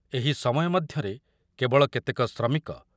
ଏହି ସମୟ ମଧ୍ୟରେ କେବଳ କେତେକ ଶ୍ରମିକ